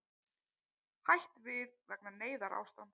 Hætt við vegna neyðarástands